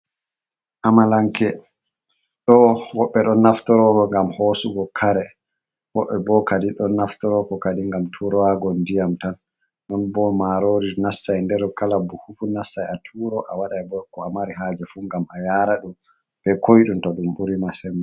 Amalanke, ɗo woɓɓe ɗon naftoro ngam hosugo kare, woɓɓe bo kadi ɗon naftoro kadi ngam turowago diyam tan, non bo marori nastai der kala buhu fu nastai a turo a wadai bo ko a mari haje fu ngam a yara ɗum be koiɗum to ɗum buri ma sembi.